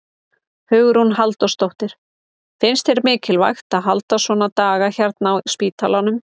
Hugrún Halldórsdóttir: Finnst þér mikilvægt að halda svona daga hérna á spítalanum?